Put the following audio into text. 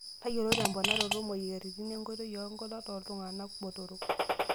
Tayiolo temponaroto moyiaritin enkoitoi oonkulak tooltung'ana botorok.